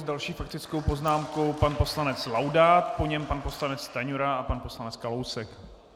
S další faktickou poznámkou pan poslanec Laudát, po něm pan poslanec Stanjura a pan poslanec Kalousek.